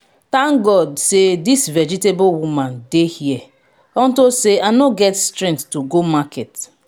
thank god say dis vegetable woman dey here unto say i no get strength to go market